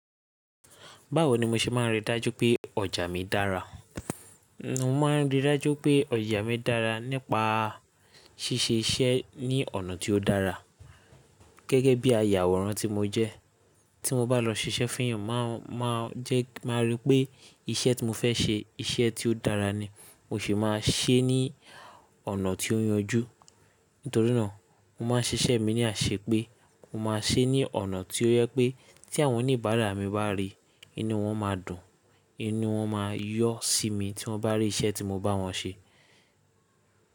Báwo ni mo ṣe máa rí dájú pé ọjà mi dára? Mo máa rí dájú pé ọjà mi dára nípa ṣíṣe iṣẹ́ ní ọ̀nà tí ó dára gẹ́gẹ́ bí ayàwòrán tí mo jẹ́. Tí mo bá lọ ṣiṣẹ́ fún èèyàn, máa, máa jẹ́ kí máa ríi pé iṣẹ́ tí mo fẹ́ ṣe, iṣẹ́ tí ó dára ni. Mo sì máa ṣe é ní ọ̀nà tí ó yanjú. Nítorí náà, mo máa ṣiṣẹ́ mi ní àṣepé mo máa ṣe é ní ọ̀nà tí ó jẹ pé tí àwọn oníbàárà mi bá rí i, inú wọn máa dùn, inú wọn máa yọ́ sí mi tí wọ́n bá rí iṣẹ́ tí mo bá wọ́n ṣe.